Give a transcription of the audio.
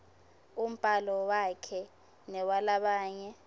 umbhalo wakhe newalabanye